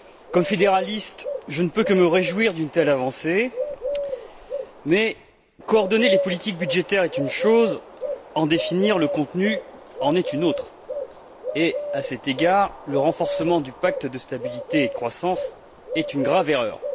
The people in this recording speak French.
Comme fédéraliste, je ne peux que me réjouir d'une telle avancée, mais coordonner les politiques budgétaires est une chose, en définir le contenu en est une autre et, à cet égard, le renforcement du pacte de stabilité et de croissance est une grave erreur.